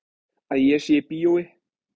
Að ég sé í bíói.